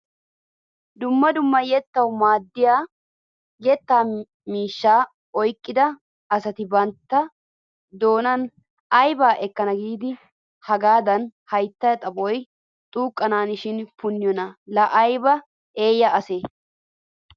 Dumma dumma yettawu maaddiyaa yettaa miishshata oyqqida asati bantta doonan aybaa ekkana giidi hagaadan hayttaa xaphoy xuuqqanashin punniyoona la ayba eeyya asee!